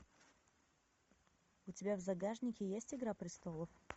у тебя в загашнике есть игра престолов